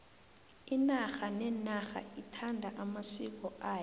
inarha nenarha ithanda amasiko ayo